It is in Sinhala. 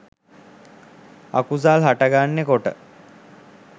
අකුසල් හටගන්න කොට